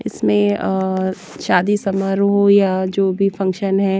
इसमें अअ शादी समारोह हो या जो भी फंक्शन है।